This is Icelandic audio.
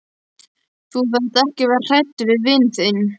Þú þarft ekki að vera hræddur við vin þinn.